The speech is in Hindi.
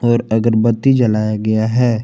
और अगरबत्ती जलाया गया है।